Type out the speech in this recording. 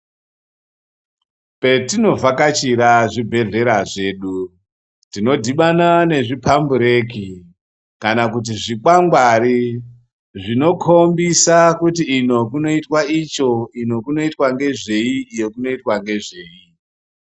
Petinovhakachira zvibhedhlera zvedu tinodhibana nezvikwangwari zvinokombisa kuti uku kunoitwa nezvei uku kunoitwa nezvei.